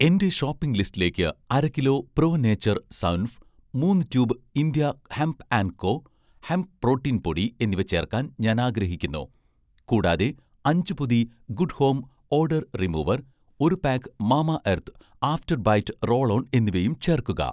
എന്‍റെ ഷോപ്പിംഗ് ലിസ്റ്റിലേക്ക് അര കിലോ 'പ്രോ നേച്ചർ' സൗൻഫ്, മൂന്ന് tube 'India hemp and co', hemp protein പൊടി എന്നിവ ചേർക്കാൻ ഞാൻ ആഗ്രഹിക്കുന്നു. കൂടാതെ അഞ്ച്‌ പൊതി 'ഗുഡ് ഹോം' ഓഡർ റിമൂവർ, ഒരു pack 'mama earth' after bite roll on എന്നിവയും ചേർക്കുക